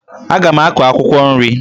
Aga m akụ akwụkwọ nri